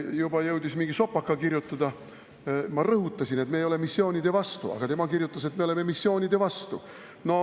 Aga üks reformierakondlane jõudis juba mingi sopaka kirjutada, tema kirjutas, et me oleme missioonide vastu.